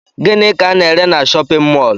Gịnị ka ana ere n'shóppin mol?